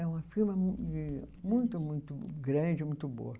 E uma firma muito, muito grande, muito boa.